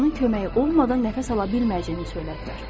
Onun köməyi olmadan nəfəs ala bilməyəcəyini söylədilər.